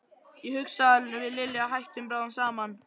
Ég hugsa að við Lilja hættum bráðum saman.